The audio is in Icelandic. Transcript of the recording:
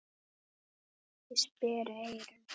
Ég sperri eyrun.